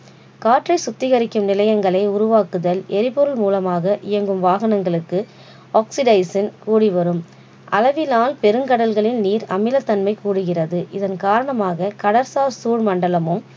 காற்றை சுத்திகரிக்கும் நிலையங்களை உருவாக்குதல் எரிபொருள் மூலமாக இயங்கும் வாகனங்களுக்கு oxidizing கூடி வரும் அளவினால் பெருங்கடல்களில் நீர் அமிலத்தன்மை கூடுகிறது இதன் காரணமாக கடற்சார் சூழ் மண்டலமும்